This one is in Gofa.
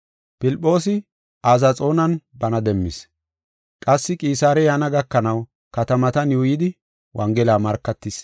Filphoosi Azaxoonan bana demmis. Qassi Qisaare yaana gakanaw katamatan yuuyidi wongela markatis.